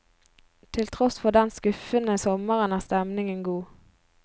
Til tross for den skuffende sommeren er stemningen god.